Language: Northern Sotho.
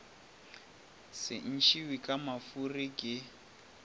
se ntšhiwe ka mafuri ke